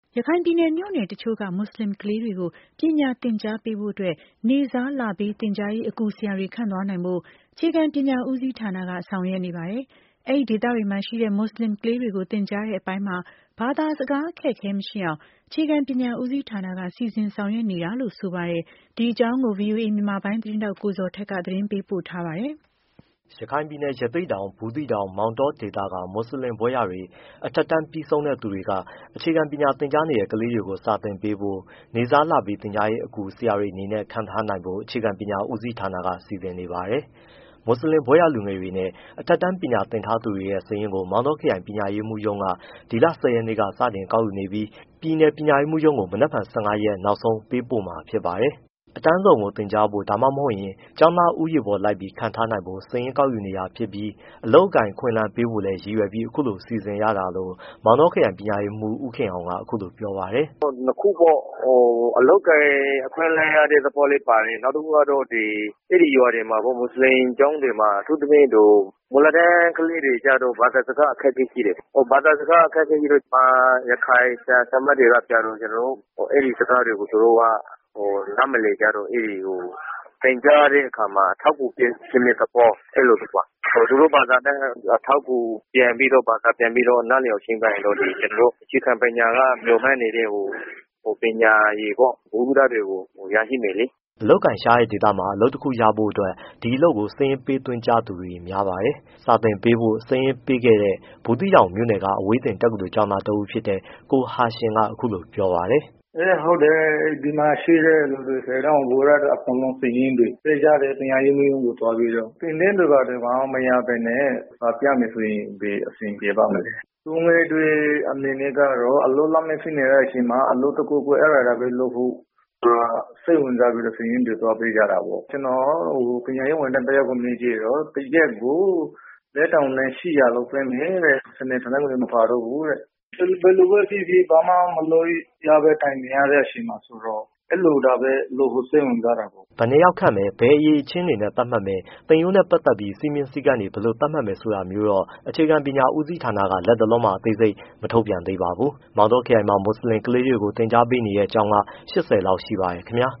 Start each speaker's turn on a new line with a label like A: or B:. A: ရခိုင်ပြည်နယ် မြို့နယ်တချို့က မွတ်ဆလင်ကလေးတွေကို ပညာသင်ကြားပေးဖို့ နေ့စားလပေး သင်ကြားရေး အကူ ဆရာတွေခန့်သွားနိုင်ဖို့ အခြေခံပညာဦးစီးဌာနက ဆောက်ရွက်နေပါတယ်။ အဲဒီဒေသတွေမှာရှိတဲ့ မွတ် ဆလင်ကလေးတွေကို သင်ကြားတဲ့အပိုင်းမှာ ဘာသာစကားအခက်အခဲ မရှိအောင် အခြေခံပညာဦးစီး ဌာနက စီစဉ်ဆောင်ရွက်နေတာလို့ဆိုပါတယ်။ ဒီအကြောင်း ဗွီအိုအေ မြန်မာပိုင်းသတင်းထောက် ကိုဇော်ထက် သတင်း ပေးပို့ထားပါတယ်။
B: ရခိုင်ပြည်နယ် ရသေ့တောင်၊ ဘူးသီးတောင်၊ မောင်တောဒေသက မွတ်ဆလင်ဘွဲ့ရတွေ၊ အထက် တန်း ပြီးဆုံး တဲ့သူတွေက ခြေခံပညာသင်ကြားနေတဲ့ကလေးတွေကို စာသင်ပေးဖို့ နေ့စားလပေး သင်ကြားရေးအကူ ဆရာ တွေအနေနဲ့ ခန့်သွားနိုင်ဖို့ အခြေခံပညာဦးစီးဌာနက စီစဉ်နေပါတယ်။ မွတ်ဆလင် ဘွဲ့ရလူငယ်တွေနဲ့ အထက် တန်းပညာသင်ထားသူတွေရဲ့ စာရင်းကို မောင်တောခရိုင် ပညာရေးမှူးရုံးက ဒီလ ၁၀ ရက်နေ့က စတင် ကောက်ယူနေပြီး ပြည်နယ်ပညာရေးမှူးရုံးကို မနက်ဖြန် စက်တင်ဘာ ၁၅ ရက် နောက်ဆုံးပေးပို့မှာ ဖြစ်ပါတယ်။ အတန်းစုံကိုသင်ကြားဖို့ ဒါမှမဟုတ် ကျောင်းသားဦးရေပေါ်လိုက်ပြီး ခန့်ထားနိုင်ဖို့ စာရင်းကောက် ယူနေတာ ဖြစ်ပြီး အလုပ်အကိုင် အခွင့်အလမ်းပေးဖို့လည်းရည်ရွယ်ပြီးအခုလိုစီစဉ်ရတာလို့ မောင်တော ခရိုင် ပညာရေးမှူး ဦးခင်အောင်က အခုလိုပြောပါတယ်။ “အဓ
C: ိကတော့ နှစ်ခုပေါ့ အလုပ်အကိုင်အခွင့်အလမ်းရတဲ့သဘောလည်းပါတယ်။ နောက်တစ်ခုက အဲဒီရွာတွေ မှာ မွတ်ဆလင်ကျောင်းတွေ မှာ အထူးသဖြင့် မူလတန်းကလေးတွေမှာ ဘာသာစကား အခက်အခဲရှိတယ်။ ဘာသာစကားအခက်အခဲရှိတော့ ရခိုင်၊ ဗမာ ဆရာ၊ ဆရာမတွေကျတော့ အဲဒီ စကားတွေကို သူတို့က နားမ လည်ကြတော့ အဲဒီ သင်ကြားတဲ့အခါမှာ အထောက်အကူ ဖြစ်တဲ့ သဘော အဲဒီလိုပါ။ သူတို့ဘာသာနဲ့ အထောက်အကူ ပြန်ပြီးတော့ ဘာသာပြန်ပြီးတော့ နားလည်အောင်ချဉ်းကပ်ရင်တော့ ကျနော်တို့ အခြေခံပညာ အခြေခံပညာကမျှော်မှန်းနေတဲ့ ပညာရည်ပေါ့ ဗဟုသုတတွေကို ရရှိမယ်လေ။
B: ” အလုပ်အကိုင်ရှားပါးတဲ့ဒေသမှာ အလုပ်တစ်ခုရဖို့အတွက် ဒီအလုပ်ကိုစာရင်းပေးသွင်းကြတဲ့သူတွေ များပါတယ်။ စာသင်ပေးဖို့စာရင်းပေးခဲ့တဲ့ ဘူးသီးတောင်မြို့နယ်က အဝေးသင် တက္ကသိုလ် ကျောင်း သား ကိုဟာရှင်မ် က အခုလိုပြောပါတယ်။
D: “အင်း၊ ဟုတ်တယ် ဒီမှာရှိတဲ့သူတွေ အကုန်လုံးစာရင်းတွေပေးကြတယ်။ ပညာရေးမှူးရုံးကို သွားပြီးတော့။ သင် တဲ့သူတွေဘာမှမရဘဲနဲ့ စာပြမယ်ဆိုရင် ဘယ်အဆင်ပြေပါ့မလဲ။ လူငယ်တွေ အနေနဲ့ကျတော့ အလုပ်လက်မဲ့ ဖြစ်နေတဲ့အချိန်မှာ အလုပ်တခုခု၊ အဲဒါလောက်ပဲ လုပ်ဖို့သူတို့က စိတ်ဝင်စားပြီး စာရင်းတွေသွားပေးကြတာပေါ့။ ကျနော်ကတော့ ပညာရေးဝန်ထမ်းတယောက်ကို မေးကြည့်တော့ တစ်ရက်ကို ၄၈၀၀ လောက်ပေးမယ်တဲ့။ စနေ၊ တနင်္ဂနွေမပါတော့ဘူးတဲ့။ ဘယ် လိုပဲ ဖြစ်ဖြစ် ဘာမှမလုပ်ရဘဲ ဒီအတိုင်းထိုင်နေရတဲ့အချိန်မှာဆိုတော့ အဲလိုပဲလုပ်ဖို့ စိတ်ဝင်စားတာပေါ့
B: ။” ဘယ်နှစ်ယောက်ခန့်မယ်၊ ဘယ်အရည်အချင်းတွေသတ်မှတ်မယ်၊ သင်ရိုးနဲ့ပတ်သက်ပြီး စည်းမျဉ်း၊ စည်းကမ်း တွေ ဘယ်လို သတ်မှတ်မယ် ဆိုတာမျိုးတော့ အခြေခံပညာဦးစီးဌာနက လတ်တလော မှာ အသေးစိတ်ထုတ် မထုတ်ပြန်သေးပါဘူး။ မောင်တောခရိုင်မှာ မွတ်ဆလင်ကလေးတွေကို သင်ကြားပေးနေတဲ့ကျောင်းက ၈၀ လောက် ရှိပါတယ် ခင်ဗျာ